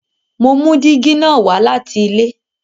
Mo mú dígí na wá láti ilé